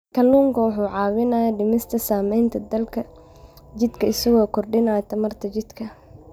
Kalluunku waxa uu caawiyaa dhimista saamaynta daalka jidhka isaga oo kordhiya tamarta jidhka.